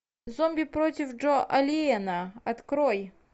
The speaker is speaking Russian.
зомби против джо алиена открой